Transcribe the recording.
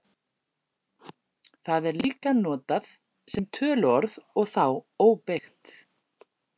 Það er líka notað sem töluorð og þá óbeygt.